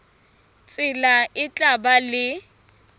tsela e tla ba le